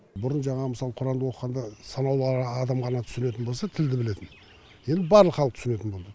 бұрын жаңағы мысалы құранды оқығанда санаулы адам ғана түсінетін болса тілді білетін енді барлық халық түсінетін болды